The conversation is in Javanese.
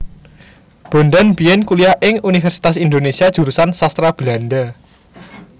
Bondan biyen kuliah ing Universitas Indonesia Jurusan Sastra Belanda